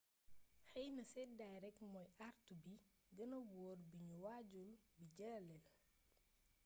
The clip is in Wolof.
xeyna sédday rek mooy àartu bi gëna wóor bu ñu waajul di dajeel